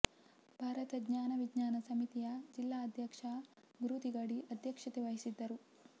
ಭಾರತ ಜ್ಞಾನ ವಿಜ್ಞಾನ ಸಮಿತಿಯ ಜಿಲ್ಲಾ ಅಧ್ಯಕ್ಷ ಗುರು ತಿಗಡಿ ಅಧ್ಯಕ್ಷತೆವಹಿಸಿದ್ದರು